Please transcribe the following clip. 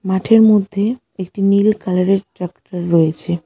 মাঠের মধ্যে একটি নীল কালারের ট্রাক্টর রয়েছে।